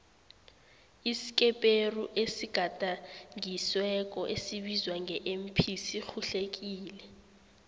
iskeperuesigadangisweko esibizwa nge mp sirhuhlekile